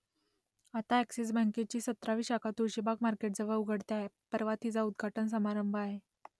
आता अ‍ॅक्सिस बँकेची सतरावी शाखा तुळशीबाग मार्केटजवळ उघडते आहे परवा तिचा उद्घाटन समारंभ आहे